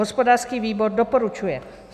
Hospodářský výbor doporučuje.